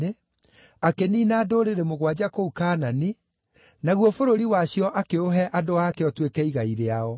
akĩniina ndũrĩrĩ mũgwanja kũu Kaanani naguo bũrũri wacio akĩũhe andũ aake ũtuĩke igai rĩao.